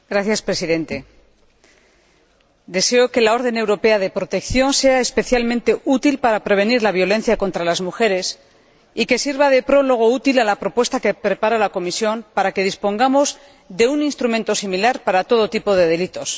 Señor Presidente, deseo que la orden europea de protección sea especialmente útil para prevenir la violencia contra las mujeres y que sirva de prólogo útil a la propuesta que prepara la Comisión para que dispongamos de un instrumento similar para todo tipo de delitos.